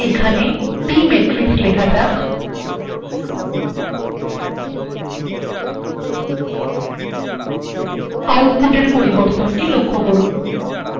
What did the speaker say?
এখন pmatrix লেখা যাক